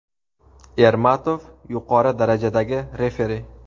Ermatov – yuqori darajadagi referi.